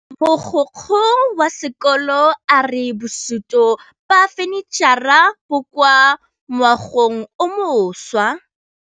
Mogokgo wa sekolo a re bosutô ba fanitšhara bo kwa moagong o mošwa.